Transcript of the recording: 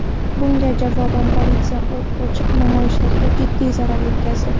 Bunga javoban politsiya o‘t ochib, namoyishchilarga jiddiy zarar yetkazdi.